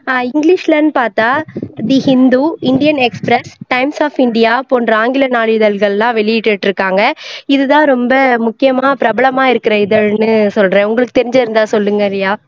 english லன்னு பாத்தா thehindu, indian express, times of india போன்ற ஆங்கில நாளிதழ்கள் எல்லாம் வெளியிட்டுட்டு இருக்காங்க இது தான் ரொம்ப முக்கியமா பிரபலமா இருக்குற இதழ்ன்னு சொல்றேன் உங்களுக்கு தெரிஞ்சுருந்தா சொல்லுங்க ரியா